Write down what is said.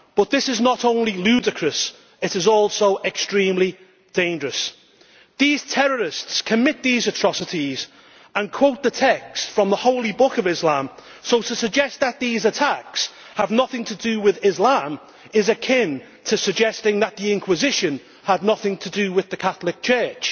But this is not only ludicrous, it is also extremely dangerous. These terrorists commit these atrocities and quote the text from the holy book of Islam, so to suggest that these attacks have nothing to do with Islam is akin to suggesting that the Inquisition had nothing to do with the Catholic Church.